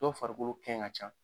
Dɔw farikolo kɛn ka can.